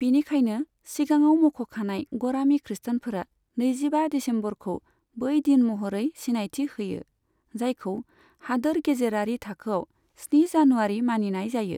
बिनिखायनो, सिगाङाव मख'खानाय गरामि खृष्टानफोरा नैजिबा दिसेम्बरखौ बै दिन महरै सिनायथि होयो, जायखौ हादोर गेजेरारि थाखोआव स्नि जानुवारि मानिनाय जायो।